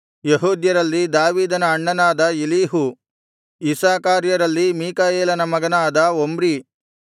ಯೆಹೂದ್ಯರಲ್ಲಿ ದಾವೀದನ ಅಣ್ಣನಾದ ಎಲೀಹು ಇಸ್ಸಾಕಾರ್ಯರಲ್ಲಿ ಮೀಕಾಯೇಲನ ಮಗನಾದ ಒಮ್ರಿ